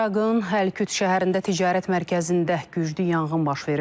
İraqın Həlküt şəhərində ticarət mərkəzində güclü yanğın baş verib.